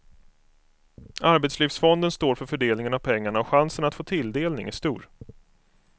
Arbetslivsfonden står för fördelningen av pengarna och chansen att få tilldelning är stor.